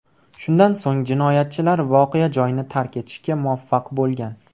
Shundan so‘ng jinoyatchilar voqea joyini tark etishga muvaffaq bo‘lgan.